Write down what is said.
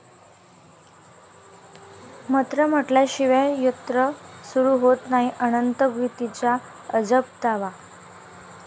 मंत्र म्हटल्याशिवाय यंत्र सुरू होत नाही, अनंत गीतेंचा अजब दावा